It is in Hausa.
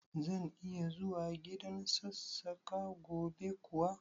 Zan iya zuwa gidan Sassaƙa gobe kuwa?